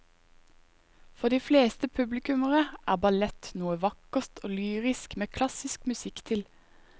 For de fleste publikummere er ballett noe vakkert og lyrisk med klassisk musikk til.